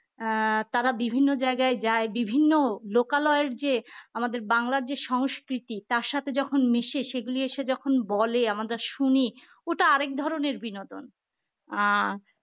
আহ তারা বিভিন্ন জায়গায় যায় বিভিন্ন লোকালয়ের যে আমাদের বাংলা যে সংস্কৃতি তার সাথে যখন মিশে সেগুলি এসে যখন বলে আমাদের শুনি ওটা আরেক ধরনের বিনোদন আহ